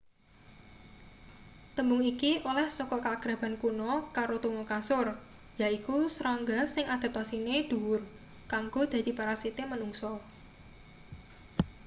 tembung iki oleh saka kaakraban kuno karo tuma kasur yaiku serangga sing adaptasine dhuwur kanggo dadi parasite manungsa